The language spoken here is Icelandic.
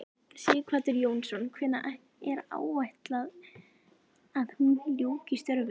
Sighvatur Jónsson: Hvenær er áætlað að hún ljúki störfum?